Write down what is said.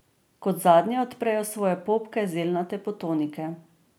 Kot zadnje odprejo svoje popke zelnate potonike.